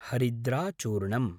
हरिद्राचूर्णम्